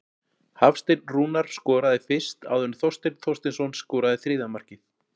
Hafsteinn Rúnar skoraði fyrst áður en Þorsteinn Þorsteinsson skoraði þriðja markið.